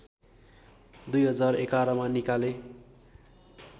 २०११ मा निकाले